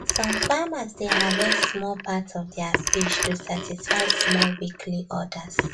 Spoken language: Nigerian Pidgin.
some farmers dey harvest small part of their fish to satisfy small weekly orders